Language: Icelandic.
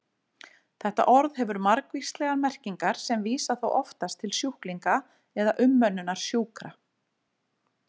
Þetta orð hefur margvíslegar merkingar sem vísa þó oftast til sjúklinga eða umönnunar sjúkra.